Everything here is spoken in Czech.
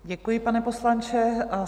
Děkuji, pane poslanče.